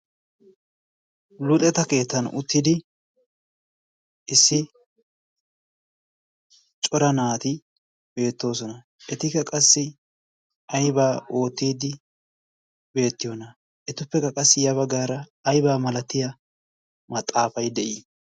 luuxeta keettan uttidi issi cora naati beettoosona etika qassi aibaa oottiiddi beettiyoona etuppekka qassi ya baggaara aybaa malatiya maxaafay de'ii